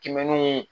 Kimɛni